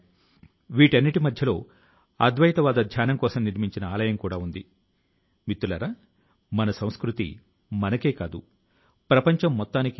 పాత మెటీరియల్ ను పెండింగ్ లో ఉన్న మెటీరియల్ ను తొలగించడానికి మంత్రిత్వ శాఖల లో విభాగాల లో ప్రత్యేక ప్రచారాలు కూడా నిర్వహిస్తున్నారు